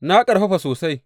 Na ƙarfafa sosai.